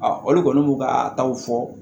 olu kɔni b'u ka taw fɔ